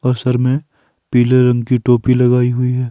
और सर में पीले रंग की टोपी लगाई हुई है।